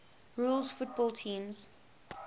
rules football teams